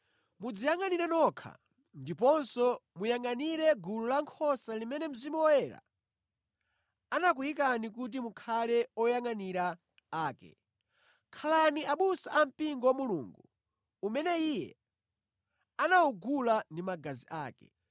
Mudziyangʼanire nokha ndiponso muyangʼanire gulu lankhosa limene Mzimu Woyera anakuyikani kuti mukhale oyangʼanira ake. Khalani abusa a mpingo wa Mulungu umene Iye anawugula ndi magazi ake.